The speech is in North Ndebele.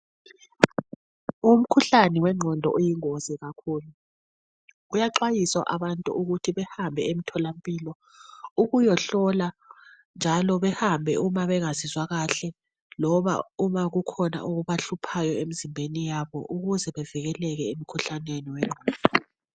Umkhuhlane wengqondo uyingozi kakhulu kuyaxwayisa abantu ukuthi behambe emtholampilo ukuyahlolwa njalo behambe nxa bengazizwa kahle ukuze bevikeleke emkhuhlaneni wengqondo.